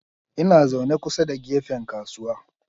Ina zaune kusa da gefen kasuwa.